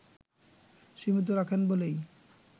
সীমিত রাখেন বলেই